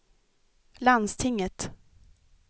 landstinget